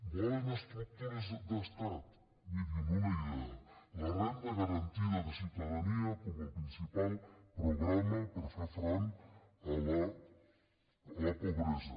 volen estructures d’estat mirin una idea la renda garantida de ciutadania com el principal programa per fer front a la pobresa